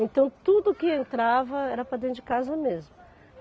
Então, tudo que entrava era para dentro de casa mesmo.